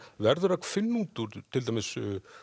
verður að finna út úr til dæmis